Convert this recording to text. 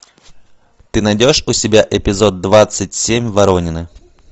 ты найдешь у себя эпизод двадцать семь воронины